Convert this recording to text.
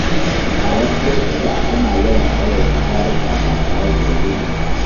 A wasu lokuta ana yawan tsawaita taruka ba tare da dalili ba.